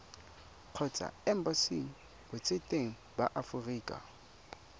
kgotsa embasing botseteng ba aforika